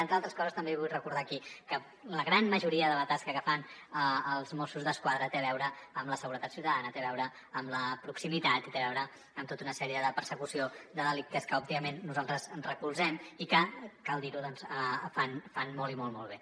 entre altres coses també vull recordar aquí que la gran majoria de la tasca que fan els mossos d’esquadra té a veure amb la seguretat ciutadana té a veure amb la proximitat i té a veure amb tota una sèrie de persecució de delictes que òbviament nosaltres recolzem i que cal dir ho fan molt molt molt bé